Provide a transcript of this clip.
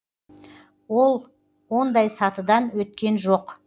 ол ондай сатыдан өткен жоқ